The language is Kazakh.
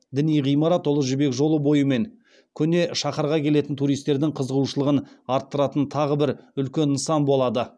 діни ғимарат ұлы жібек жолы бойы мен көне шаһарға келетін туристердің қызығушылығын арттыратын тағы бір үлкен нысан болады